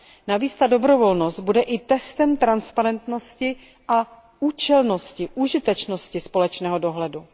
Navíc ta dobrovolnost bude i testem transparentnosti a účelnosti, užitečnosti společného dohledu.